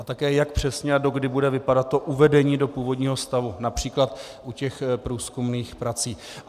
A také jak přesně a dokdy bude vypadat to uvedení do původního stavu například u těch průzkumných prací.